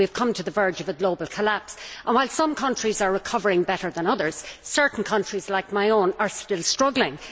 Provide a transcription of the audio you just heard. We have come to the verge of a global collapse, and while some countries are recovering better than others, certain countries like my own are still struggling.